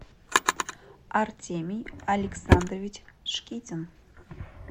артемий александрович шкитин